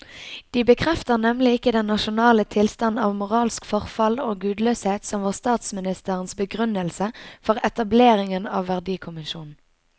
De bekrefter nemlig ikke den nasjonale tilstand av moralsk forfall og gudløshet som var statsministerens begrunnelse for etableringen av verdikommisjonen.